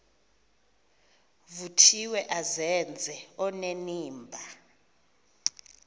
vuthiwe azenze onenimba